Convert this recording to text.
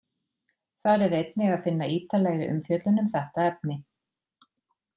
Þar er einnig að finna ítarlegri umfjöllun um þetta efni.